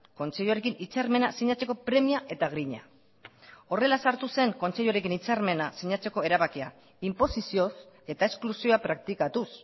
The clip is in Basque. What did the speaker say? kontseiluarekin hitzarmena sinatzeko premia eta grina horrela sartu zen kontseiluarekin hitzarmena sinatzeko erabakia inposizioz eta esklusioa praktikatuz